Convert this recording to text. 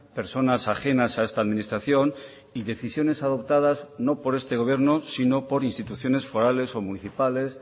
personas ajenas a esta administración y decisiones adoptadas no por este gobierno sino por instituciones forales o municipales